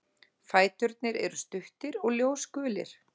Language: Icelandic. Fæturnir eru stuttir og ljósgulir.